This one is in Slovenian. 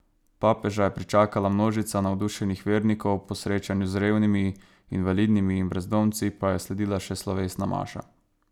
Papeža je pričakala množica navdušenih vernikov, po srečanju z revnimi, invalidnimi in brezdomci pa je sledila še slovesna maša.